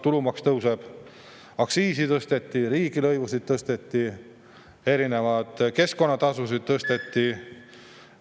Tulumaks tõuseb, aktsiisi tõsteti, riigilõivusid tõsteti, erinevaid keskkonnatasusid tõsteti.